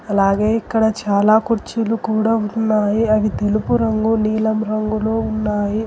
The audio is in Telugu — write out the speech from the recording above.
అలాగే ఇక్కడ చాలా కుర్చీలు కూడా ఉన్నాయి అవి తెలుపు రంగు నీలం రంగులో ఉన్నాయి.